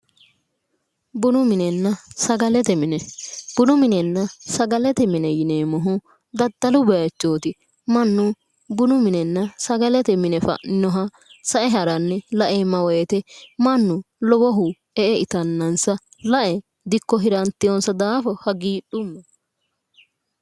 Bunu minenna sagalete mine bunu minenna sagalete mine yineemmohu daddalu baychooti mannu bunu minenna sagalete mine fa'ninoha sa"e haranni la"eemma woyte mannu lowohu e"e itannansa lae dikko hirantannansa hagiidhumma